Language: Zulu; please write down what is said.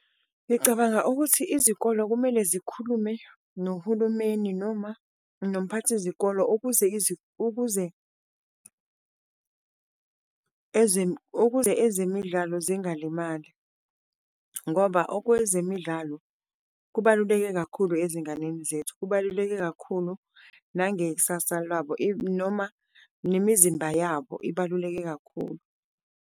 Ngicabanga ukuthi izikolo kumele zikhulume nohulumeni noma nomphakathi zikolo ukuze ukuze ukuze ezemidlalo zingalimali, ngoba okwezemidlalo kubaluleke kakhulu ezinganeni zethu. Kubaluleke kakhulu nangekusasa lwabo noma nemizimba yabo ibaluleke kakhulu.